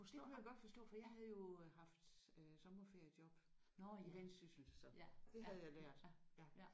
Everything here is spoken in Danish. Det kunne jeg godt forstå for jeg havde jo haft øh sommerferiejob i Vendsyssel så det havde jeg lært ja